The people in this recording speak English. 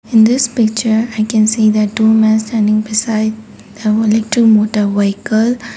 in this picture i can see that the two men standing beside they holding to motor vehicle.